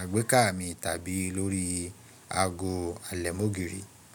àgbékà mi tàbí lórí ago àlẹ̀mọ́gìrì.